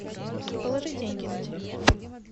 положи деньги на телефон